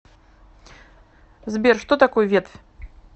сбер что такое ветвь